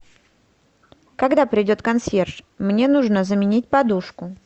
когда придет консьерж мне нужно заменить подушку